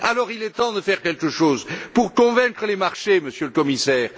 Il est temps dès lors de faire quelque chose pour convaincre les marchés, Monsieur le Commissaire.